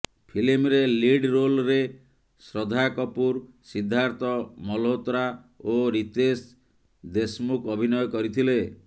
ଫିଲ୍ମରେ ଲିଡ୍ ରୋଲ୍ରେ ଶ୍ରଦ୍ଧା କପୁର ସିଦ୍ଧାର୍ଥ ମଲହୋତ୍ରା ଓ ରିତେଶ ଦେଶ୍ମୁଖ ଅଭିନୟ କରିଥିଲେ